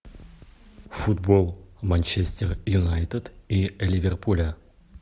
футбол манчестер юнайтед и ливерпуля